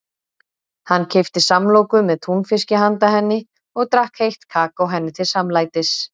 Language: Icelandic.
Hann keypti samloku með túnfiski handa henni og drakk heitt kakó henni til samlætis.